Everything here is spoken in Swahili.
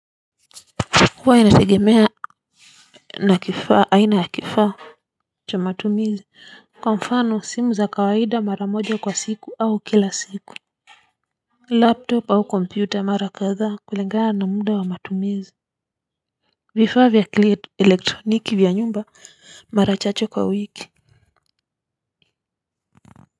Huwa inategemea na kifaa aina ya kifaa cha matumizi kwa mfano simu za kawaida mara moja kwa siku au kila siku Laptop au kompyuta au mara kadhaa kulingana na muda wa matumizi vifaa vya kielektroniki vya nyumba mara chache kwa wiki. Kwa hivyo.